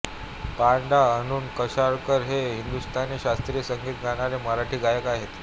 पं डाॅ अरुण कशाळकर हे एक हिंदुस्तानी शास्त्रीय संगीत गाणारे मराठी गायक आहेत